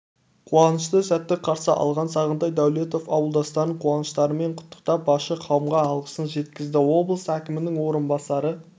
қуанышты сәтті қарсы алған сағынтай даулетов ауылдастарын қуаныштарымен құттықтап басшы қауымға алғысын жеткізді облыс әкімінің орынбасары